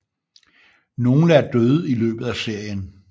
Nogle er døde i løbet af serien